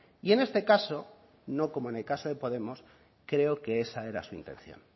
y en este caso no como en el caso de podemos creo que esa era su intención